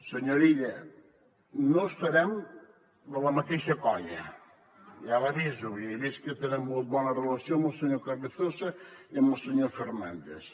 senyor illa no estarem a la mateixa colla ja l’aviso i he vist que tenen molt bona relació amb el senyor carrizosa i amb el senyor fernández